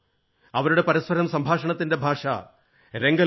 അവരുടെ പരസ്പരം സംഭാഷണത്തിന്റെ ഭാഷ രംഗലോ ആണ്